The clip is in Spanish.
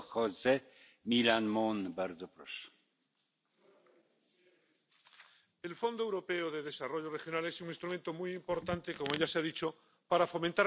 Señor presidente, el Fondo Europeo de Desarrollo Regional es un instrumento muy importante —como ya se ha dicho— para fomentar la cohesión en las regiones europeas.